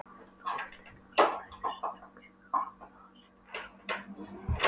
Tómlegt augnaráðið, tættur svipurinn- kvikur kroppurinn á harðaspani framhjá linsunni.